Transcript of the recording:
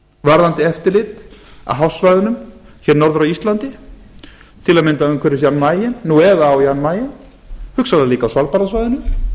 varðandi eftirlit á hafsvæðunum hér norður af íslandi til dæmis umhverfis jan mayen nú eða á jan mayen hugsanlega líka á svalbarðasvæðinu